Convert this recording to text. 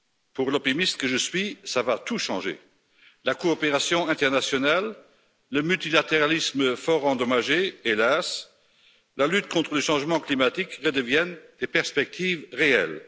Pour l'optimiste que je suis, ça va tout changer la coopération internationale, le multilatéralisme fort endommagé, hélas et la lutte contre le changement climatique redeviennent des perspectives réelles.